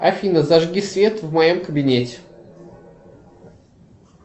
афина зажги свет в моем кабинете